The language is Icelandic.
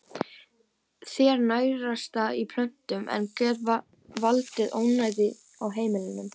Þeir nærast á plöntum en geta valdið ónæði á heimilum.